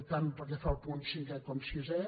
tant pel que fa al punt cinquè com al sisè